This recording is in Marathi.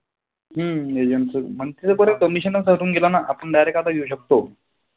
हम्म agent च. ते बरं commission कटून गेल ना. आपण आता direct येऊ शकतो.